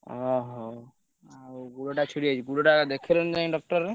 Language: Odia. ଓହୋ ଆଉ ଗୋଡ ଟା ଛିଡିଯାଇଛି ଗୋଡ ଟା ଦେଖେଇଲନି ଯାଇ doctor ରେ?